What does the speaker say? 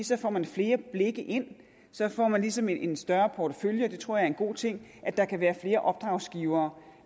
så får man flere blikke ind så får man ligesom en større portefølje jeg tror det er en god ting at der kan være flere opdragsgivere